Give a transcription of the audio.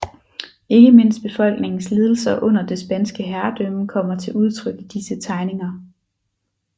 Ikke mindst befolkningens lidelser under det spanske herredømme kommer til udtryk i disse tegninger